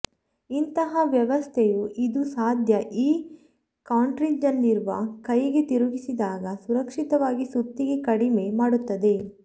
ಇಂತಹ ವ್ಯವಸ್ಥೆಯು ಇದು ಸಾಧ್ಯ ಈ ಕಾರ್ಟ್ರಿಜ್ನಲ್ಲಿರುವ ಕೈಗೆ ತಿರುಗಿಸಿದಾಗ ಸುರಕ್ಷಿತವಾಗಿ ಸುತ್ತಿಗೆ ಕಡಿಮೆ ಮಾಡುತ್ತದೆ